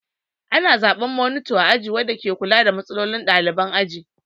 Ana zaɓen monita a aji wanda ke kula da matsalolin ɗalibai a aji.